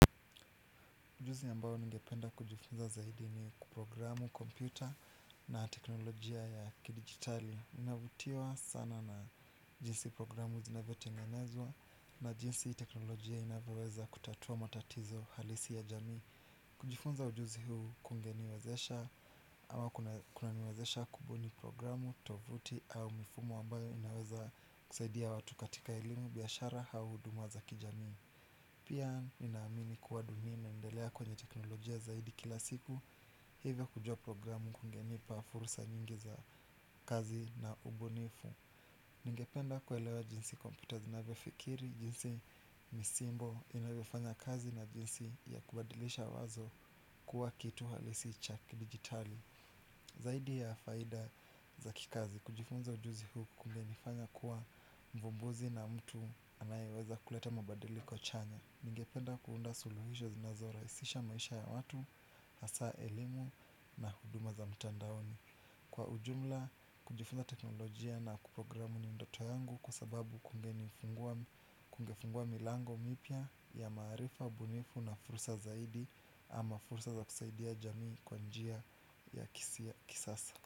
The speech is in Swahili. Ujuzi ambao ningependa kujifunza zaidi ni programu, kompyuta na teknolojia ya kidigitali navutiwa sana na jinsi programu zinavyotengenezwa na jinsi teknolojia inavyoweza kutatua matatizo halisi ya jamii. Kujifunza ujuzi huu kungeniwezesha ama kuna niwezesha kubuni programu, tovuti au mifumo ambayo inaweza kusaidia watu katika elimu biashara au huduma za kijamii. Pia ninaamini kuwa dunia inaendelea kwenye teknolojia zaidi kila siku. Hivyo kujua programu kungenipa fursa nyingi za kazi na ubunifu. Ningependa kuelewa jinsi computers zinavyo fikiri, jinsi misimbo inavyo fanya kazi na jinsi ya kubadilisha wazo kuwa kitu halisi cha kidigitali. Zaidi ya faida za kikazi, kujifunza ujuzi huu kungenifanya kuwa mvumbuzi na mtu anayeweza kuleta mabadiliko chanya. Ningependa kuunda suluhisho zinazorahisisha maisha ya watu, hasa elimu na huduma za mtandaoni. Kwa ujumla, kujifunza teknolojia na kuprogramu ni ndoto yangu kwa sababu kungenifungua milango mipya ya maarifa, ubunifu na fursa zaidi ama fursa za kusaidia jamii kwa njia ya kisasa.